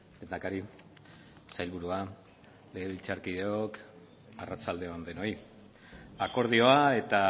lehendakari sailburua legebiltzarkideok arratsalde on denoi akordioa eta